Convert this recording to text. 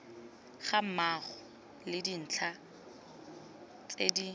gammogo le dintlha tse di